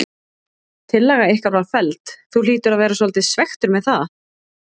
Tillaga ykkar var felld, þú hlýtur að vera svolítið svekktur með það?